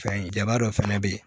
Fɛn jaba dɔ fɛnɛ be yen